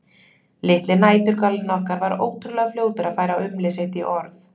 Litli næturgalinn okkar var ótrúlega fljótur að færa umlið sitt í orð.